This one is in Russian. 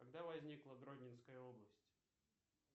когда возникла гродненская область